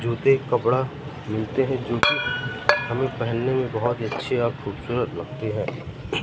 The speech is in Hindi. जूते कपड़ा मिलते है जो कि हमें पेहनने मे बहोत अच्छे और खूबसूरत लगते है।